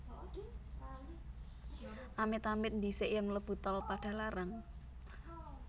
Amit amit ndhisik yen mlebu Tol Padalarang